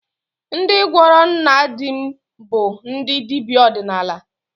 Ndị gwọrọ nna di m bụ ndị dibịa ọdịnala